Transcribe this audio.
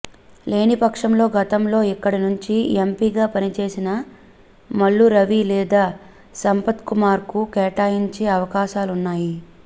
లేనిపక్షంలో గతంలో ఇక్కడి నుంచి ఎంపీగా పనిచేసిన మల్లు రవి లేదా సంపత్కుమార్కు కేటాయించే అవకాశాలున్నాయి